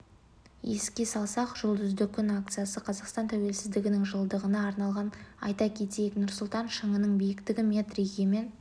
еске салсақ жұлдызды күн акциясы қазақстан тәуелсіздігінің жылдығына арналған айта кетейік нұрсұлтан шыңының биіктігі метр егемен